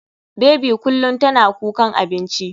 Baby kullum tana kukan abinci.